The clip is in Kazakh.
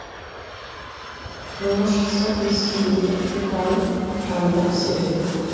жолға шықса есениннің жырларын жанына серік етті